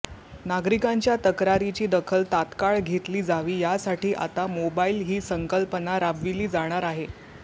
नागरिकांच्या तक्रारीची दखल तात्काळ घेतली जावी यासाठी आता मोबाईल ही संकल्पना राबविली जाणार आहे